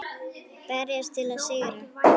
Berjast til að sigra.